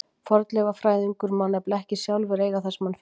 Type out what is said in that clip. Fornleifafræðingur má nefnilega ekki sjálfur eiga það sem hann finnur.